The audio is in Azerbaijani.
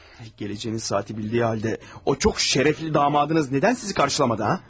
Gələcəyinizi saatı bildiyi halda o çox şərəfli damadınız nədən sizi qarşılamadı, hə?